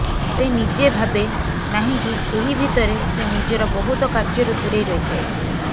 ସେ ନିଜେ ଭାବେ ନାହିଁକି ଏହି ଭିତରେ ସେ ନିଜର ବହୁତ କାର୍ଯ୍ୟରୁ ଦୂରେଇ ରହିଥାଏ